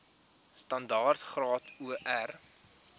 standaard graad or